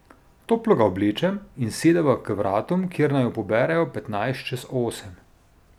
Toplo ga oblečem in sedeva k vratom, kjer naju poberejo petnajst čez osem.